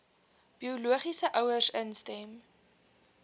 biologiese ouers instem